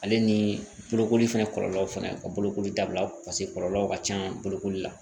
Ale ni bolokoli fɛnɛ kɔlɔlɔw fɛnɛ ka bolokoli dabila paseke kɔlɔlɔw ka ca bolokoli la